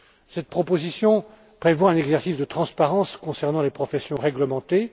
Cette proposition prévoit un exercice de transparence concernant les professions réglementées.